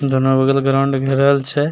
दोन्नो बगल ग्राउंड घेरल छे।